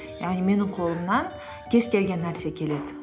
яғни менің қолымнан кез келген нәрсе келеді